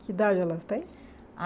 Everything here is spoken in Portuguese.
Que idade elas têm? A